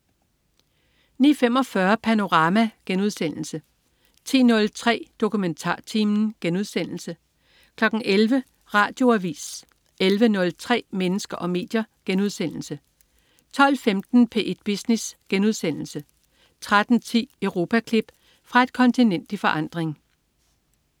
09.45 Panorama* 10.03 DokumentarTimen* 11.00 Radioavis 11.03 Mennesker og medier* 12.15 P1 Business* 13.10 Europaklip. Fra et kontinent i forandring